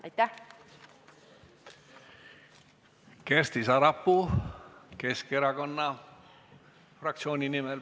Aitäh!